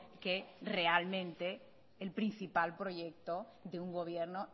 que realmente el principal proyecto de un gobierno